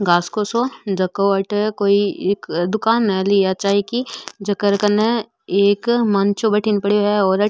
घास को सो जको आठे एक कोई दुकान ली है चाय की जके कर कनने एक मंचो बडीने पड़े है एक --